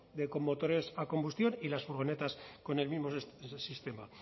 con motores a combustión y las furgonetas con el mismo sistema